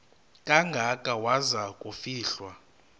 kangaka waza kufihlwa